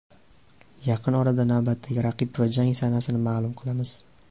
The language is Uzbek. Yaqin orada navbatdagi raqib va jang sanasini ma’lum qilamiz.